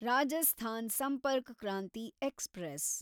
Rajasthan Sampark Kranti express